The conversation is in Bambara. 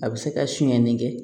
A bɛ se ka sonyani kɛ